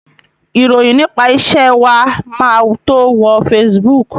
Ìròyìn nípa iṣẹ́ wa máa tó wo Facebook.